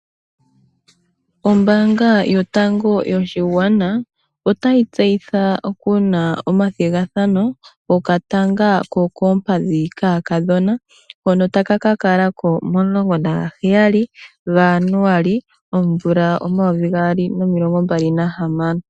Ombaanga yotango yopashigwana otayi tseyitha kuna omathigathano gokatanga kokoompadhi kaakadhona ,hono ta ka kakalavko momasiku omulongo nagaheyali gaJanuary omvula omayovi gaali nomilongombali nahamano.